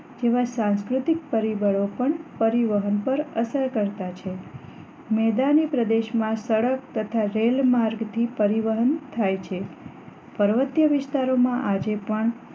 જેવા સાંસ્કૃતિક પરિબળો પણ પરિવહન પર અસર કરતા છે મેદાની પ્રદેશમાં સડક તથા રેલ માર્ગ થી પરિવહન થાય છે પર્વતીય વિસ્તાર માં આજે પણ